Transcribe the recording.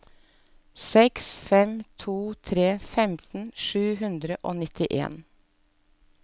seks fem to tre femten sju hundre og nittien